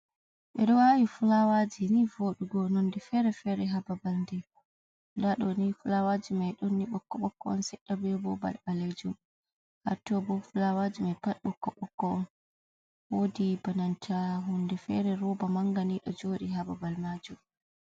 ɓe ɗo awi fulawaji ni voɗugo nonde fere fere ha babal, nda ɗo ni fulawaji mai ɗonni bokko bokko on seɗɗa beyo bo ban ɓalejum, Ha to bo fulawaji mai pad ɓokko ɓokko on, wodi ba nanta hunde fere roba Manga ni do joɗi ha babal majum.